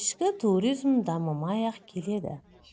ішкі туризм дамымай-ақ келеді